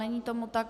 Není tomu tak.